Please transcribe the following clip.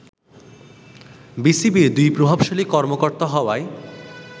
বিসিবির দুই প্রভাবশালী কর্মকর্তার হওয়ায়